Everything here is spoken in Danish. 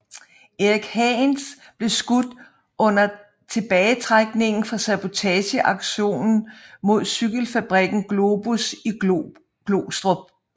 Erik Hagens blev skudt under tilbagetrækningen fra sabotageaktionen mod cykelfabrikken Globus i Glostrup